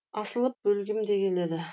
асылып өлгім де келеді